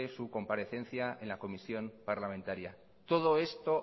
su comparecencia en la comisión parlamentaria todo esto